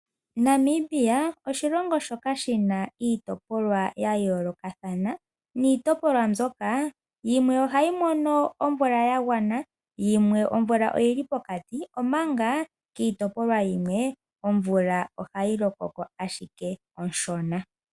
Namibia oshilongo shoka shina iitopolwa yayoolokathana niitopolwa mbyoka yimwe ohayi mono omvula ya gwana, yimwe omvula oyili pokati omanga kiitopolwa yimwe omvula ohayi loko ko ashike onshona.